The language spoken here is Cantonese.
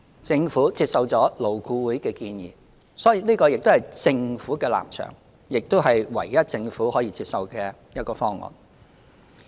政府接受了勞顧會的建議，所以這個亦是政府的立場，亦是唯一政府可接受的方案。